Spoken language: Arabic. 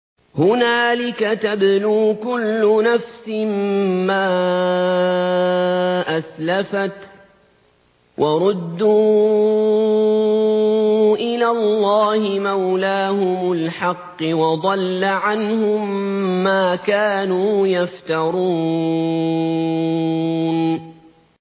هُنَالِكَ تَبْلُو كُلُّ نَفْسٍ مَّا أَسْلَفَتْ ۚ وَرُدُّوا إِلَى اللَّهِ مَوْلَاهُمُ الْحَقِّ ۖ وَضَلَّ عَنْهُم مَّا كَانُوا يَفْتَرُونَ